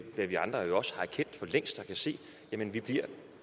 også erkendt for længst og kan se nemlig at vi